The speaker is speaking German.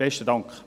Besten Dank.